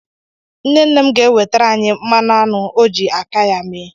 Nne nne m ga-ewetara anyị mmanụ aṅụ ọ ji aka ya mee.